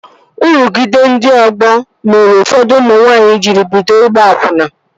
Nrụgide ndị ọgbọ mere ụfọdụ ụmụ nwanyị jiri bido ịgba akwụna